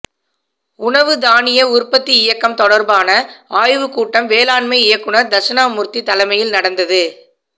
உணவு தானிய உற்பத்தி இயக்கம் தொடர்பான ஆய்வுக்கூட்டம் வேளாண்மை இயக்குநர் தஷ்ணாமூர்த்தி தலைமையில் நடந்தது